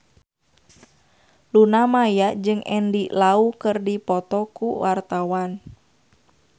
Luna Maya jeung Andy Lau keur dipoto ku wartawan